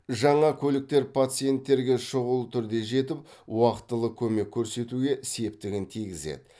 жаңа көліктер пациенттерге шұғыл түрде жетіп уақытылы көмек көрсетуге септігін тигізеді